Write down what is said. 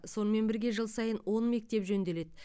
сонымен бірге жыл сайын он мектеп жөнделеді